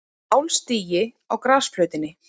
Álstigi á grasflötinni.